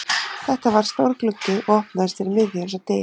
Þetta var stór gluggi og opnaðist fyrir miðju eins og dyr.